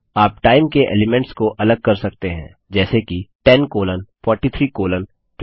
आप टाइम के एलिमेंट्स को अलग कर सकते हैं जैसे कि 10 कोलोन 43 कोलोन 20